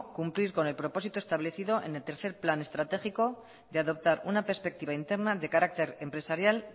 cumplir con el propósito establecido en el tercer plan estratégico de adoptar una perspectiva interna de carácter empresarial